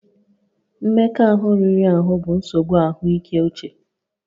Mmekọahụ riri ahụ bụ nsogbu ahụike uche